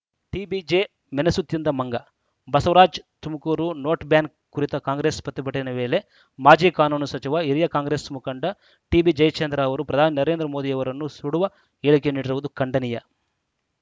TBJ ಮೆಣಸು ತಿಂದ ಮಂಗ ಬಸವರಾಜ್‌ ತುಮಕೂರು ನೋಟ್‌ಬ್ಯಾನ್‌ ಕುರಿತ ಕಾಂಗ್ರೆಸ್‌ ಪ್ರತಿಭಟನೆ ವೇಳೆ ಮಾಜಿ ಕಾನೂನು ಸಚಿವ ಹಿರಿಯ ಕಾಂಗ್ರೆಸ್‌ ಮುಖಂಡ ಟಿಬಿಜಯಚಂದ್ರ ಅವರು ಪ್ರಧಾನಿ ನರೇಂದ್ರ ಮೋದಿಯವರನ್ನು ಸುಡುವ ಹೇಳಿಕೆ ನೀಡಿರುವುದು ಖಂಡನೀಯ